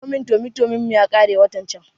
Indomin tomi tomin mu yakare watan can